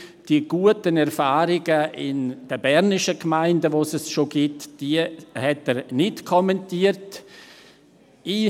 Die guten Erfahrungen in den bernischen Gemeinden, wo diese Möglichkeiten schon bestehen, kommentierte er nicht.